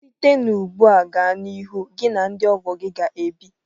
Site ugbu a gaa n'ihu, gị na ndị ọgọ gị ga-ebi.